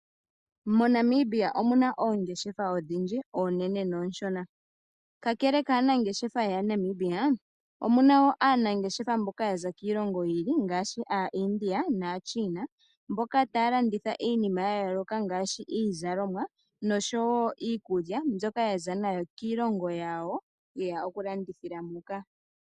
MoNamibia omuna oongeshefa odhindji oonene noonshona. Kakele kaanangeshefa mboka yo moNamibia, omuna wo aanangeshefa mboka yaza kiilongo yi ili ngaashi aaIndia naaChina. Mboka taya landitha iinima ya yooloka ngaashi iizalomwa nosho wo iikulya mbyoka yaza nayo kiilongo yawo yeya oku landithila muka.